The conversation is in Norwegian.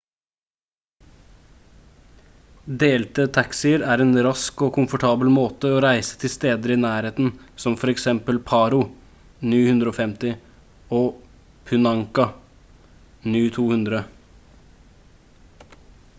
delte taxier er en rask og komfortabel måte å reise til steder i nærheten som for eksempel paro nu 150 og punakha nu 200